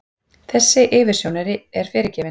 Þessi yfirsjón er fyrirgefin.